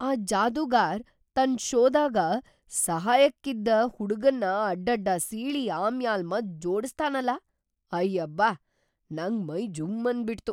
ಆ ಜಾದೂಗಾರ್‌ ತನ್‌ ಷೋದಾಗ ಸಹಾಯಕ್ಕಿದ್‌ ಹುಡ್ಗನ್ನ ಅಡ್ಡಡ್ಡ ಸೀಳಿ ಆಮ್ಯಾಲ್‌ ಮತ್‌ ಜೋಡಸ್ದಾನಲ.. ಅಯ್ಯಬ್ಯಾ! ನಂಗ್ ಮೈ ಜುಂ ಅಂದ್ಬಿಟ್ತು!